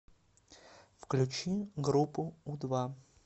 включи группу у два